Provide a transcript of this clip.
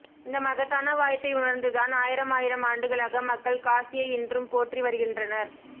இந்த மகத்தான வாய்ப்பை உணர்ந்துதான் ஆயிரமாயிரம் ஆண்டுகளாக மக்கள் காசியை இன்றும் போற்றி வருகின்றனர்